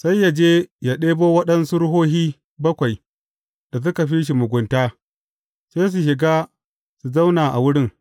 Sai ya je ya ɗebo waɗansu ruhohi bakwai da suka fi shi mugunta, sai su shiga su zauna a wurin.